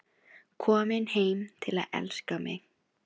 Komin heim til að elska mig.